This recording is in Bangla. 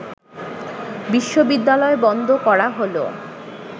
বিশ্ববিদ্যালয় বন্ধ করা হল